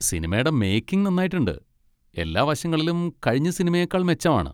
സിനിമടെ making നന്നായിട്ടുണ്ട്, എല്ലാ വശങ്ങളിലും കഴിഞ്ഞ സിനിമയേക്കാൾ മെച്ചമാണ്.